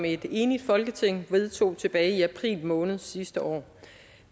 et enigt folketing vedtog tilbage i april måned sidste år